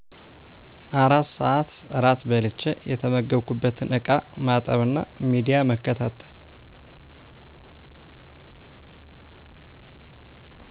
4 ስዐት እራት በልቸ የተመገብኩበትን እቃ ማጠብና ሚዲያ መከታተል